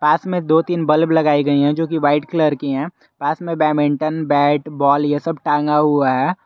पास में दो तीन बल्ब लगाई गई है जो की वाइट कलर की है पास में बैडमिंटन बैट बॉल ये सब टांगा हुआ है।